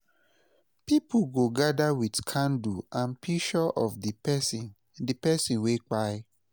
pipo go gada wit candle an pishur of di pesin di pesin wey kpai